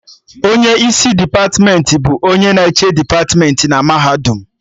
Onye isi depatmentị bụ onye na-eche depatmentị na mahadum